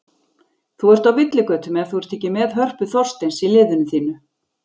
Þú ert á villigötum ef þú ert ekki með Hörpu Þorsteins í liðinu þínu.